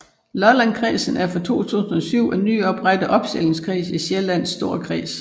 Lollandkredsen er fra 2007 en nyoprettet opstillingskreds i Sjællands Storkreds